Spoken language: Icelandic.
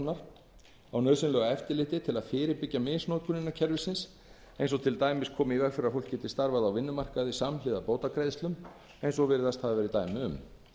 vinnumálastofnunar á nauðsynlegu eftirliti til að fyrirbyggja misnotkun innan kerfisins eins og til dæmis koma í veg fyrir að fólk geti starfað á vinnumarkaði samhliða bótagreiðslum eins og virðist hafa verið dæmi um